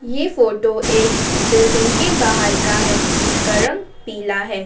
ये फोटो एक बिल्डिंग के बाहर का है जिसका रंग पीला है।